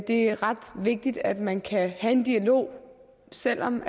er ret vigtigt at man kan have en dialog selv om